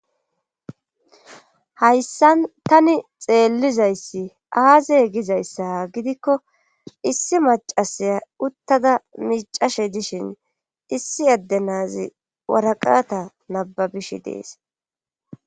Hayssan tani xeellizayssi aazey gizayssa gidikko issi macasaya uttada micashe dishin issi adde naazi waraqata nababishi dees